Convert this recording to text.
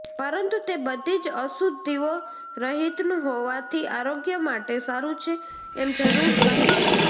પરંતુ તે બધીજ અશુદ્ધીઓ રહિતનું હોવાથી આરોગ્ય માટે સારું છે એમ જરૂર કહી શકાય